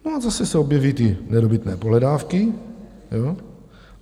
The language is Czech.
No a zase se objeví ty nedobytné pohledávky.